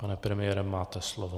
Pane premiére, máte slovo.